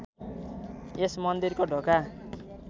यस मन्दिरको ढोका